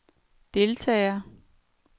deltager